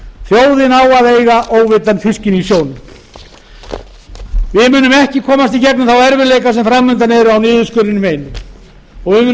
þjóðin á að eiga óveiddan fiskinn í sjónum við munum ekki komast í gegnum þá erfiðleika sem fram undan eru á niðurskurðinum einum og við munum